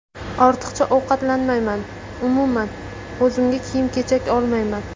Ortiqcha ovqatlanmayman, umuman, o‘zimga kiyim-kechak olmayman.